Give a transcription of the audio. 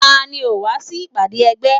Tani ò wá sí ìpàdé ẹgbẹ́?